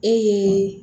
Ee